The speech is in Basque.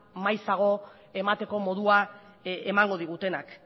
maizago emateko modua emango digutenak